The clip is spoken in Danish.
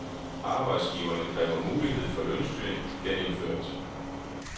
Arbejdsgiverne kræver mulighed for lønstyring genindført.